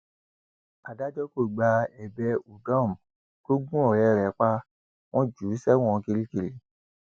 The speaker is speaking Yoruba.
adájọ kò gba ẹbẹ udom tó gun ọrẹ rẹ pa wọn jù ú sẹwọn kirikiri